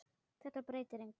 Þetta breytir engu.